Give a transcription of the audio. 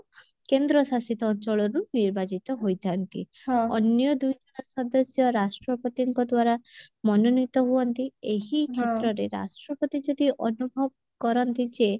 କେନ୍ଦ୍ରଶାସିତ ଅଞ୍ଚଳରୁ ନିର୍ବାଚିତ ହୋଇଥାନ୍ତି ଅନ୍ୟ ଦୁଇଜଣ ସଦସ୍ୟ ରାଷ୍ଟ୍ରପତିଙ୍କ ଦ୍ଵାରା ମନୋନୀତ ହୁଅନ୍ତି ଏହି କ୍ଷେତ୍ରରେ ରାଷ୍ଟ୍ରପତି ଯଦି ଅନୁଭବ କରନ୍ତି ଯେ